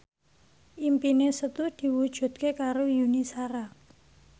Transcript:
impine Setu diwujudke karo Yuni Shara